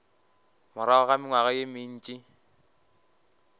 morago ga mengwaga ye mentši